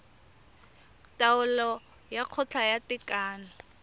taolo ya kgotla ya tekano